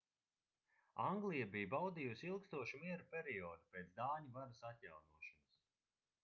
anglija bija baudījusi ilgstošu miera periodu pēc dāņu varas atjaunošanas